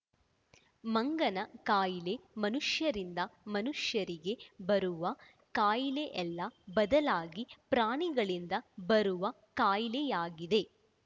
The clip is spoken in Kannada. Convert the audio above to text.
ಮಂಗನ ಕಾಯಿಲೆ ಮನುಷ್ಯರಿಂದ ಮನುಷ್ಯರಿಗೆ ಬುರುವ ಕಾಯಿಲೆಯಲ್ಲ ಬದಲಾಗಿ ಪ್ರಾಣಿಗಳಿಂದ ಬರುವ ಕಾಯಿಲೆಯಾಗಿದೆ